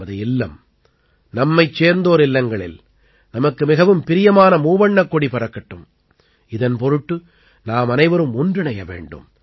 நமது இல்லம் நம்மைச் சேர்ந்தோர் இல்லங்களில் நமக்கு மிகவும் பிரியமான மூவண்ணக் கொடி பறக்கட்டும் இதன் பொருட்டு நாமனைவரும் ஒன்றிணைய வேண்டும்